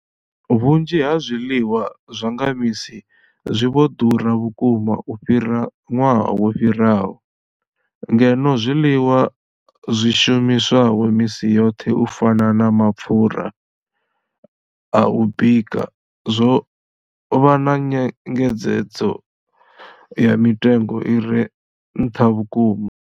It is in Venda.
Vhunzhi ha zwiḽiwa zwa nga misi zwi vho ḓura vhukuma u fhira ṅwaha wo fhiraho, ngeno zwiḽiwa zwi shumiswaho misi yoṱhe u fana na mapfhura a u bika zwo vha na nyengedzedzo ya mitengo i re nṱha vhukuma.